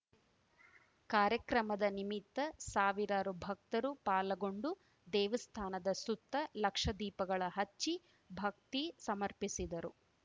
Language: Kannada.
ಕಾರ್ಯಕ್ರಮದ ನಿಮಿತ್ತ ಸಾವಿರಾರು ಭಕ್ತರು ಪಾಲ್ಗೊಂಡು ದೇವಸ್ಥಾನದ ಸುತ್ತ ಲಕ್ಷ ದೀಪಗಳ ಹಚ್ಚಿ ಭಕ್ತಿ ಸಮರ್ಪಿಸಿದರು